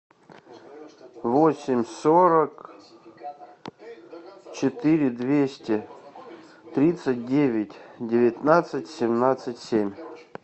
восемь сорок четыре двести тридцать девять девятнадцать семнадцать семь